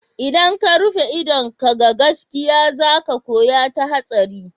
Idan ka rufe idon ka ga gaske za ka koya ta hatsari.